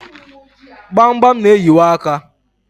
gbamgbam na-eyiwa aka.